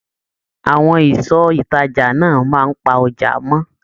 Àwọn ìsọ ìtàjà náà máa pà ọjà mọ.